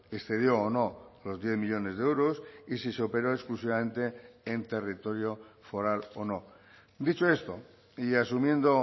excedió o no los diez millónes de euros y si se operó exclusivamente en territorio foral o no dicho esto y asumiendo